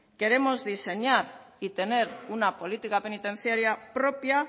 queremos diseñar y tener una política penitenciaria propia